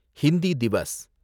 Hindi Diwas